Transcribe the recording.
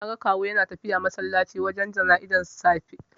Naga Kawu yana tafiya masallaci wajen jana'izar da safe.